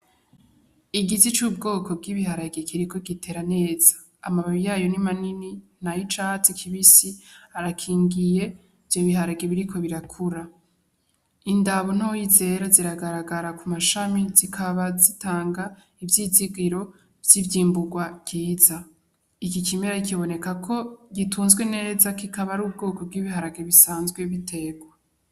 Igiti c’ubwoko bw’ibiharage kiriko gitera neza , amababi yayo ni manini nay’icatsi kibisi arakingiye ivyo biharage biriko birakura, indabo ntoyi zera ziragaragara ku mashami zikaba zitanga ivyizigiro vy’ivyimburwa ryiza . Iki kimera kiboneka ko gitunzwe kikaba ar’ubwoko bw’ibiharage bisanzwe biterwa.